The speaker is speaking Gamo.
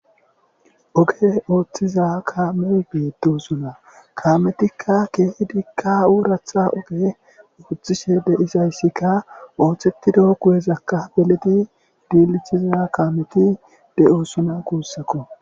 oge ooththiza kaamey beedu zula kaametikka keehi diikka uuratha oge ooththishe deizayssikka ooththettido kuwezakka beleti diilichiza kaameti de7o suna kuussako